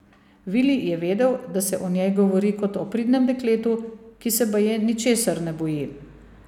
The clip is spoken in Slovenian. Vili je vedel, da se o njej govori kot o pridnem dekletu, ki se baje ničesar ne boji.